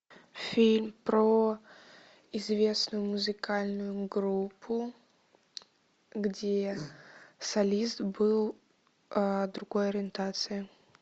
фильм про известную музыкальную группу где солист был другой ориентации